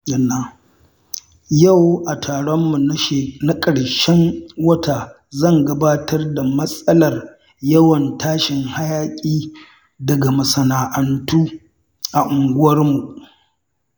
Yau a taronmu na karshen wata zan gabatar da matsalar yawan tashin hayaƙi daga masana’antu a unguwarmu.